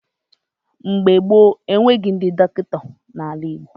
Mgbe gboo, enweghị ndị dọkịta n'ala Igbo.